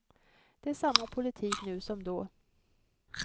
Det är samma politik nu som då.